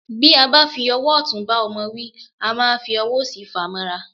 Bí a bá fi ọwọ́ ọ̀tún bá ọmọ wí, a máa fi ọwọ́ òsì fàá mọ́ra.